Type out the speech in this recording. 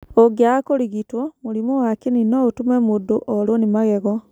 ũngĩaga kũrigitwo, mũrimũ wa kĩni no ũtũme mũndũ orũo nĩ magego.